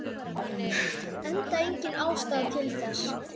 Enda engin ástæða til þess.